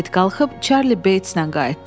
Krıket qalxıb Çarli Beytslə qayıtdı.